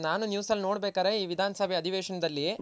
ನಾನು News ಅಲ್ ನೋಡ್ಬೇಕಂದ್ರೆ ಇ ವಿಧಾನ ಸಭೆ ಅಧಿವೇಶನದಲ್ಲಿ